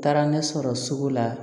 Taara ne sɔrɔ sugu la